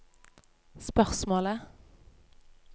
spørsmålet